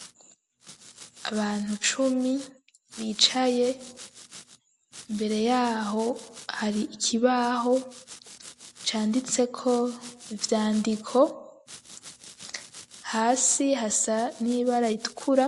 Abantu cumi,, bicaye imbere yaho ,hari ikibaho ,canditse ko ivyandiko ,hasi hasa n'iba ritukura